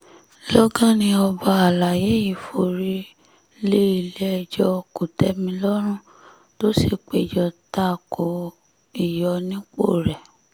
lọ́gán ni ọba àlàyé yìí forí lé ilé-ẹjọ́ kò-tẹ̀-mí-lọ́rùn tó sì péjọ ta ko ìyọnipọ̀ rẹ̀